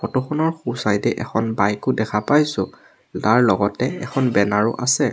Photo খনৰ সোঁ side এ এখন বাইক ও দেখা পাইছোঁ তাৰ লগতে এখন বেনাৰ ও আছে।